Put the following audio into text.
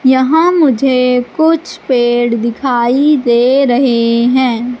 यहां मुझे कुछ पेड़ दिखाई दे रहे हैं।